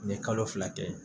N ye kalo fila kɛ